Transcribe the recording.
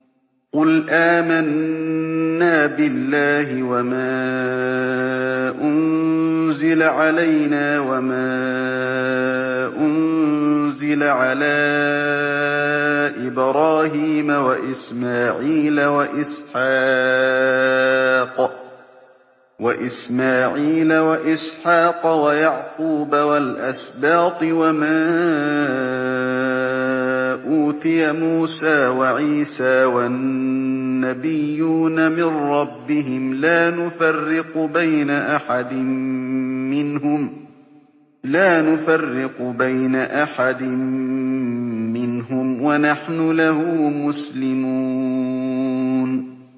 قُلْ آمَنَّا بِاللَّهِ وَمَا أُنزِلَ عَلَيْنَا وَمَا أُنزِلَ عَلَىٰ إِبْرَاهِيمَ وَإِسْمَاعِيلَ وَإِسْحَاقَ وَيَعْقُوبَ وَالْأَسْبَاطِ وَمَا أُوتِيَ مُوسَىٰ وَعِيسَىٰ وَالنَّبِيُّونَ مِن رَّبِّهِمْ لَا نُفَرِّقُ بَيْنَ أَحَدٍ مِّنْهُمْ وَنَحْنُ لَهُ مُسْلِمُونَ